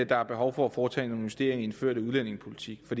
der er behov for at foretage en justering i den førte udlændingepolitik for